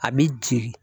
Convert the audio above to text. A bɛ jeli